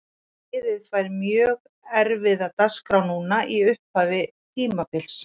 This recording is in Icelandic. Liðið fær mjög erfiða dagskrá núna í upphafi tímabils.